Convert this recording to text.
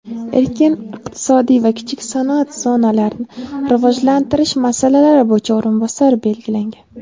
erkin iqtisodiy va kichik sanoat zonalarini rivojlantirish masalalari bo‘yicha o‘rinbosari bo‘lgan.